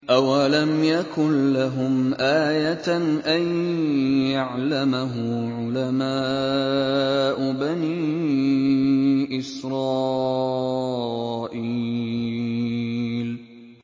أَوَلَمْ يَكُن لَّهُمْ آيَةً أَن يَعْلَمَهُ عُلَمَاءُ بَنِي إِسْرَائِيلَ